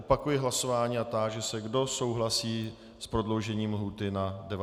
Opakuji hlasování a táži se, kdo souhlasí s prodloužením lhůty na 90 dnů.